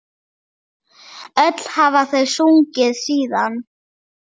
Öll hafa þau sungið síðan.